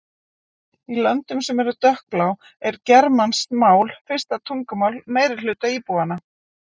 Í löndum sem eru dökkblá er germanskt mál fyrsta tungumál meirihluta íbúanna.